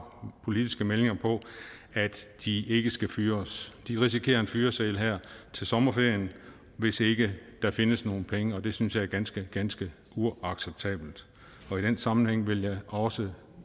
politiske meldinger på at de ikke skal fyres de risikerer en fyreseddel her til sommerferien hvis ikke der findes nogle penge og det synes jeg er ganske ganske uacceptabelt og i den sammenhæng vil jeg også